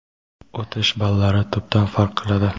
o‘tish ballari tubdan farq qiladi.